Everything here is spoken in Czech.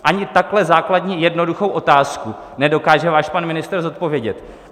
Ani takhle základní jednoduchou otázku nedokáže váš pan ministr zodpovědět.